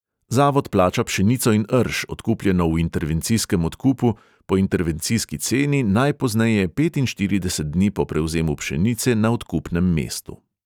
Zavod plača pšenico in rž, odkupljeno v intervencijskem odkupu, po intervencijski ceni najpozneje petinštirideset dni po prevzemu pšenice na odkupnem mestu.